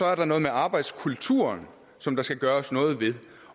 er der noget med arbejdskulturen som der skal gøres noget ved